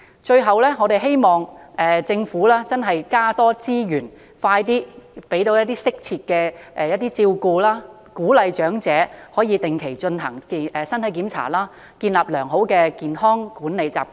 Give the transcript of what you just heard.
最後，我們希望政府能增加資源，提供適切照顧，鼓勵長者定期進行身體檢查，建立良好的管理健康習慣。